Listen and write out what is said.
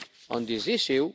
on this issue.